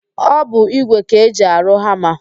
Ọ bụ ígwè ka eji arụ hama.